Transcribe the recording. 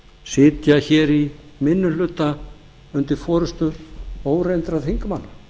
sitja hér í minni hluta undir forustu óreyndra þingmanna